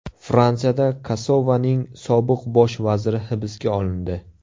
Fransiyada Kosovoning sobiq bosh vaziri hibsga olindi.